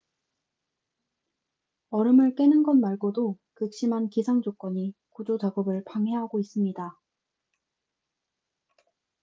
얼음을 깨는 것 말고도 극심한 기상 조건이 구조 작업을 방해하고 있습니다